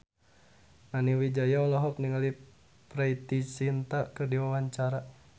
Nani Wijaya olohok ningali Preity Zinta keur diwawancara